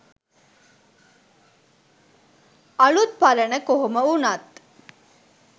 අලුත් පරණ කොහොම වුනත්